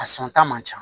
A san ta man ca